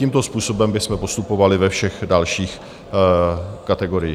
Tímto způsobem bychom postupovali ve všech dalších kategoriích.